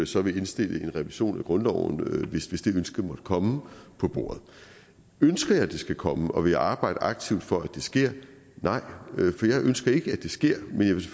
så vil indstille en revision af grundloven hvis det ønske måtte komme på bordet ønsker jeg at det skal komme og vil jeg arbejde aktivt for at det sker nej for jeg ønsker ikke at det sker men jeg vil